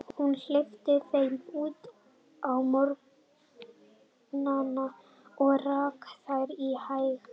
Hún hleypti þeim út á morgnana og rak þær í haga.